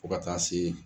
Fo ka taa se